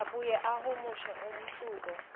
abuye ahumushe umehluko